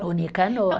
O Nicanor.